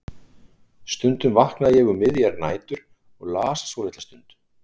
Stundum vaknaði ég um miðjar nætur og las svo litla stund.